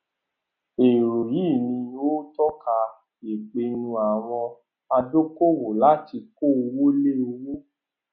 èrò yìí ni ó tọka ìpinnu àwọn adókòwò láti kó owó lé òwò